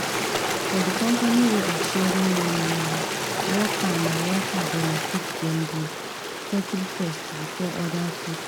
for the company way of sharing money na worker na worker benefit dem dey settle first before other people